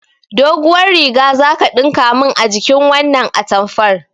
Doguwar riga zaka ɗinka min a jikin wannan atamfar